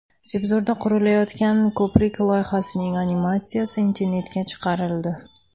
Sebzorda qurilayotgan ko‘prik loyihasining animatsiyasi internetga chiqarildi .